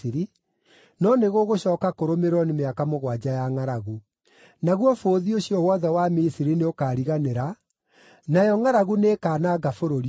no nĩgũgũcooka kũrũmĩrĩrwo nĩ mĩaka mũgwanja ya ngʼaragu. Naguo bũthi ũcio wothe wa Misiri nĩũkariganĩra, nayo ngʼaragu nĩĩkananga bũrũri ũyũ.